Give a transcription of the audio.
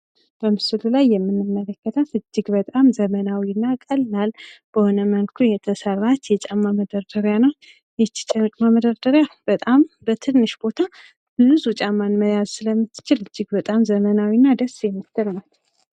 በምስሉ ላይ የምንመለከታት እጅግ በጣም ዘመናዊና ቀላል በሆነ መልኩ የተሰራች የጫማ መደርደሪያ ናት። ይቺ የጫማ መደርደሪያ በጣም በትንሽ ቦታ ንፁህ ጫማን መያዝ ስለምትችል ደስ የምትልና ዘመናዊ ናት።